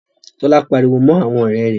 Tola pariwo mọ àwọn ọrẹ́ rẹ̀.